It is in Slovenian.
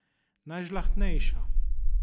Najžlahtnejša.